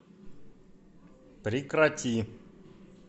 прекрати